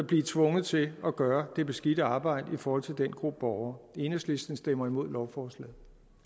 blive tvunget til at gøre det beskidte arbejde i forhold til den gruppe borgere enhedslisten stemmer imod lovforslaget